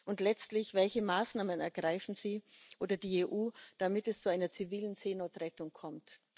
Und letztlich Welche Maßnahmen ergreifen Sie oder ergreift die EU, damit es zu einer zivilen Seenotrettung kommt?